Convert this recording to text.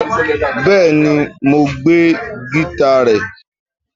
Bẹẹni, Mo gbe gita rẹ